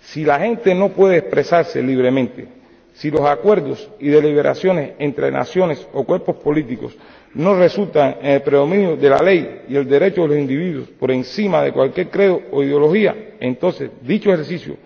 Si la gente no puede expresarse libremente, si los acuerdos y deliberaciones entre naciones o cuerpos políticos no resultan en el predominio de la ley y el derecho de los individuos por encima de cualquier credo o ideología, entonces dicho ejercicio